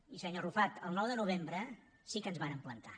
i senyor arrufat el nou de novembre sí que ens vàrem plantar